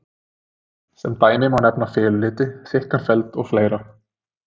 Sem dæmi má nefna feluliti, þykkan feld og fleira.